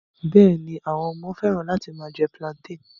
Bẹ́ẹ̀ni, àwọn ọmọ fẹ́ràn láti máa jẹ plantain